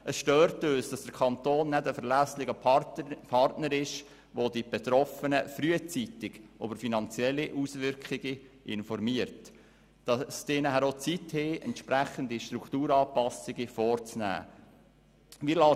Es stört uns, dass der Kanton kein verlässlicher Partner ist, der die Betroffenen frühzeitig über die finanziellen Auswirkungen informiert, damit die Betroffenen entsprechende Strukturanpassungen vornehmen können.